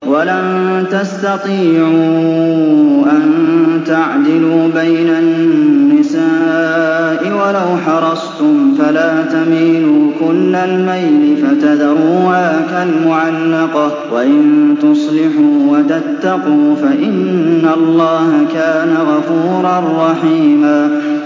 وَلَن تَسْتَطِيعُوا أَن تَعْدِلُوا بَيْنَ النِّسَاءِ وَلَوْ حَرَصْتُمْ ۖ فَلَا تَمِيلُوا كُلَّ الْمَيْلِ فَتَذَرُوهَا كَالْمُعَلَّقَةِ ۚ وَإِن تُصْلِحُوا وَتَتَّقُوا فَإِنَّ اللَّهَ كَانَ غَفُورًا رَّحِيمًا